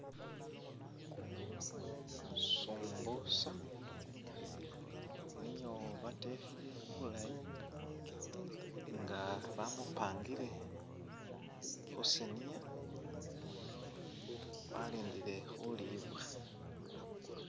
Sumbusa nio batekhile bulayi nga bamupangile khusaniya , alindile khulibwa.